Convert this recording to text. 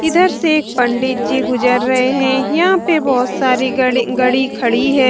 इधर से एक पंडित जी गुजर रहे हैं यहां पर बहुत सारे गरी गड़ी खड़ी है।